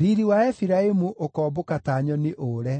Riiri wa Efiraimu ũkoombũka ta nyoni ũũre: